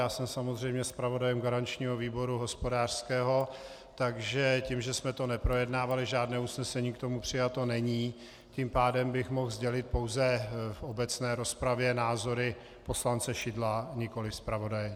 Já jsem samozřejmě zpravodajem garančního výboru hospodářského, takže tím, že jsme to neprojednávali, žádné usnesení k tomu přijato není, tím pádem bych mohl sdělit pouze v obecné rozpravě názory poslance Šidla, nikoliv zpravodaje.